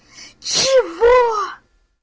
чего